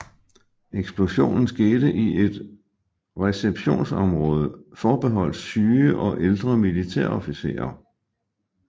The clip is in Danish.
Eksplosionen skete i et receptionsområde forbeholdt syge og ældre militærofficerer